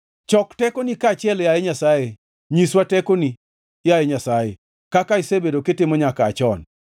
Chok tekoni kaachiel, yaye Nyasaye; nyiswa tekoni, yaye Nyasaye; kaka isebedo kitimo nyaka aa chon.